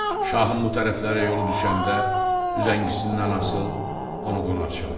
Şahın bu tərəflərə yolu düşəndə üzəngisindən asıl onu qonaq çağır.